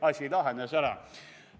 Asi lahenes ära.